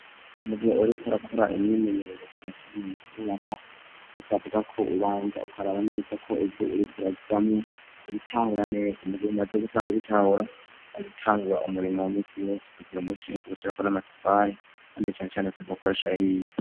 Mugihe uriko rakora imyimenyerezo ijanye cane mu kubaka. Bisabwa ko ubanza ukaraba neza ko ivyo urikuramwo ubitahura neza. Mugihe umaze gusanga ubitahura azitangura umurimo wa misi wose. Ukagira umushinge ushira ko n'amatafari kandi cane cane usabwa gukoresha yahiye.